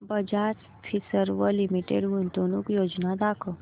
Bajaj Finserv limited गुंतवणूक योजना दाखव